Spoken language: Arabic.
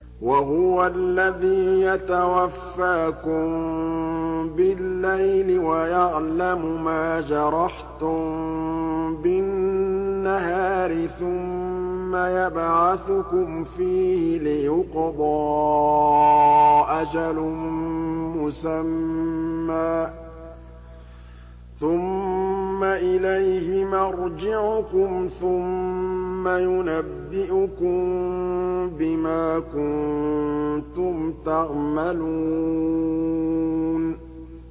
وَهُوَ الَّذِي يَتَوَفَّاكُم بِاللَّيْلِ وَيَعْلَمُ مَا جَرَحْتُم بِالنَّهَارِ ثُمَّ يَبْعَثُكُمْ فِيهِ لِيُقْضَىٰ أَجَلٌ مُّسَمًّى ۖ ثُمَّ إِلَيْهِ مَرْجِعُكُمْ ثُمَّ يُنَبِّئُكُم بِمَا كُنتُمْ تَعْمَلُونَ